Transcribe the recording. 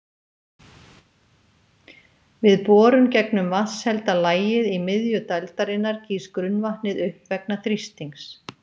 Við borun gegnum vatnshelda lagið í miðju dældarinnar gýs grunnvatnið upp vegna þrýstings.